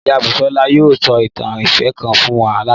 Ìyá Bùsọ́lá yóò sọ ìtàn ìfẹ́ kan fún wa lálẹ́